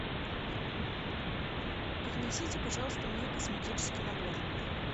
принесите пожалуйста мне косметический набор